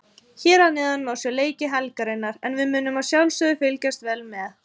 Hér að neðan má sjá leiki helgarinnar en við munum að sjálfsögðu fylgjast vel með.